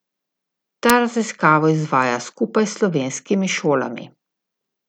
Ta raziskavo izvaja skupaj s slovenskimi šolami.